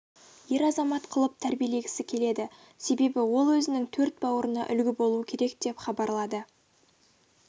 ер азамат қылып тәрбиелегісі келеді себебі ол өзінің төрт бауырына үлгі болу керек деп хабарлады